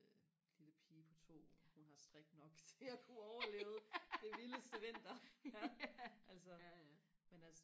lille pige på to hun har strik nok til og kunne overleve den vildeste vinter altså men altså